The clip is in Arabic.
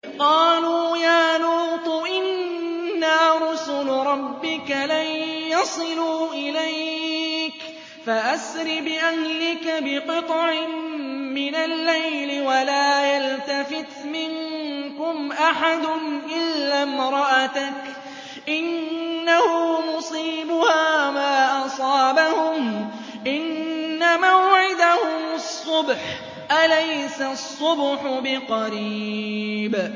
قَالُوا يَا لُوطُ إِنَّا رُسُلُ رَبِّكَ لَن يَصِلُوا إِلَيْكَ ۖ فَأَسْرِ بِأَهْلِكَ بِقِطْعٍ مِّنَ اللَّيْلِ وَلَا يَلْتَفِتْ مِنكُمْ أَحَدٌ إِلَّا امْرَأَتَكَ ۖ إِنَّهُ مُصِيبُهَا مَا أَصَابَهُمْ ۚ إِنَّ مَوْعِدَهُمُ الصُّبْحُ ۚ أَلَيْسَ الصُّبْحُ بِقَرِيبٍ